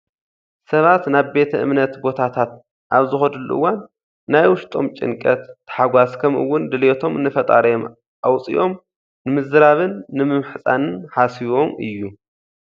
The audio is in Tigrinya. ሰባት ናብ ቤተ እምነት ቦታታት ኣብ ዝኸድሉ እዋን ናይ ውሽጦም ጭንቀት፣ ታሕጓስ ከምኡውን ድሌቶም ንፈጣሪኦም ኣውፂኦም ንምዝራብን ንምምህፃንን ሓሲቦም እዩ።